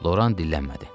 Loran dillənmədi.